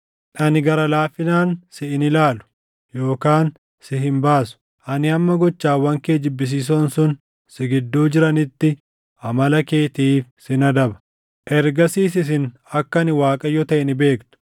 Ani gara laafinaan si hin ilaalu yookaan si hin baasu; ani hamma gochawwan kee jibbisiisoon sun si gidduu jiranitti, amala keetiif sin adaba. “ ‘Ergasiis isin akka ani Waaqayyo taʼe ni beektu.’